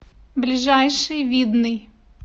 ближайший видный